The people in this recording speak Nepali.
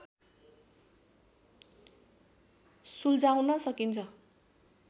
सुल्झाउन सकिन्छ